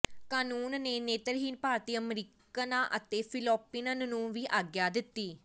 ਕਾਨੂੰਨ ਨੇ ਨੇਤਰਹੀਣ ਭਾਰਤੀ ਅਮਰੀਕਨਾਂ ਅਤੇ ਫਿਲਪੀਨਨੋ ਨੂੰ ਵੀ ਆਗਿਆ ਦਿੱਤੀ